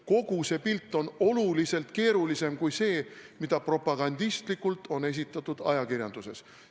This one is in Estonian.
Kogu see pilt on oluliselt keerulisem kui see, mida propagandistlikult on esitatud ajakirjanduses.